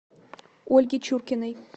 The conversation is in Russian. ольге чуркиной